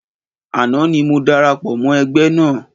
Àná ni mo darapọ̀ mọ́ ẹgbẹ́ náà